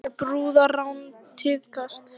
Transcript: Einnig hefur brúðarrán tíðkast